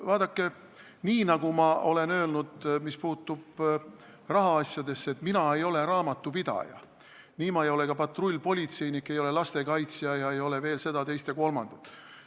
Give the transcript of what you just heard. Vaadake, nagu ma olen öelnud, et mis puutub rahaasjadesse, siis mina ei ole raamatupidaja, ma ei ole ka patrullpolitseinik, ei ole lastekaitsja ega ole veel seda, teist ja kolmandat.